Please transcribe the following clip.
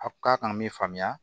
A k'a kana min faamuya